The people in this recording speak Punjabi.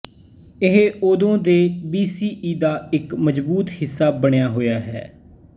ਇਹ ਉਦੋਂ ਤੋਂ ਵੀਸੀਈ ਦਾ ਇੱਕ ਮਜ਼ਬੂਤ ਹਿੱਸਾ ਬਣਿਆ ਹੋਇਆ ਹੈ